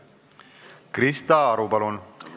Krista Aru, palun!